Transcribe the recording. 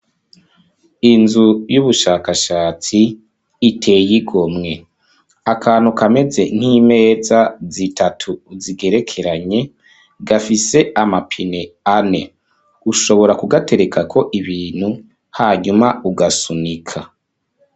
Inzu y'ubushakashatsi iteye igomwe; akantu kameze nk'imeza zitatu zigerekeranye gafise amapine ane ushobora kugaterekako ibintu hanyuma ugasunika.